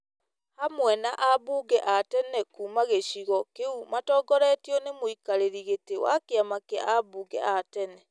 hamwe na ambunge a tene kuuma gĩcigo kĩu matongoretio nĩ mũikarĩri gĩtĩ wa kĩama kĩa ambunge a tene ,